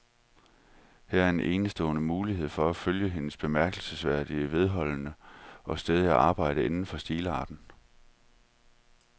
Her er en enestående mulighed for at følge hendes bemærkelsesværdigt vedholdende og stædige arbejde inden for stilarten.